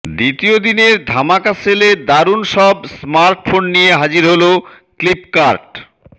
দ্বিতীয় দিনের ধামাকা সেলে দারুন সব স্মার্টফোন নিয়ে হাজির হল ফ্লিপকার্ট